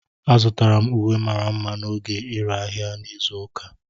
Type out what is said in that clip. Azụtara m uwe mara mma n'oge ire ahịa izu ụka.